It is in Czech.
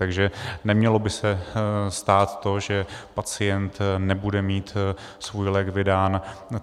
Takže nemělo by se stát to, že pacient nebude mít svůj lék vydán.